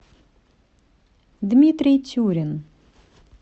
дмитрий тюрин